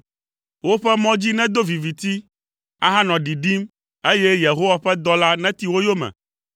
woƒe mɔ dzi nedo viviti, ahanɔ ɖiɖim, eye Yehowa ƒe dɔla neti wo yome.